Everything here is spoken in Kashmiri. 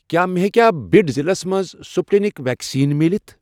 کیٛاہ مےٚ ہیٚکیا بِڈ ضلعس مَنٛز سٕپُٹنِک ویکسیٖن مِلِتھ؟